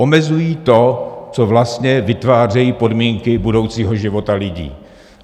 Omezují to, co vlastně vytváří podmínky budoucího života lidí.